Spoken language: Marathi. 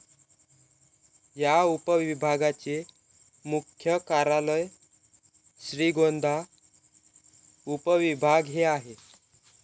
या उपविभागाचे मुख्य कार्यालय श्रीगोंदा उपविभाग हे आहे.